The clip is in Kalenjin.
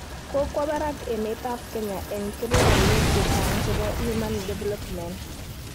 Kokowo barak emetab Kenya eng kebeberwek che chang' chebo human development